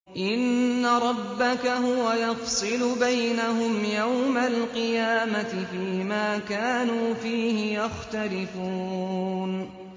إِنَّ رَبَّكَ هُوَ يَفْصِلُ بَيْنَهُمْ يَوْمَ الْقِيَامَةِ فِيمَا كَانُوا فِيهِ يَخْتَلِفُونَ